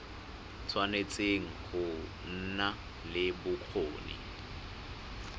tshwanetse go nna le bokgoni